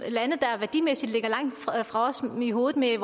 værdimæssigt ligger langt fra os oven i hovedet med at